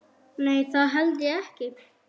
Nei það held ég ekki.